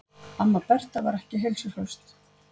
Amma Berta var ekki heilsuhraust.